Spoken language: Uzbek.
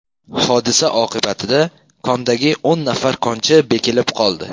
Hodisa oqibatida kondagi o‘n nafar konchi bekilib qoldi.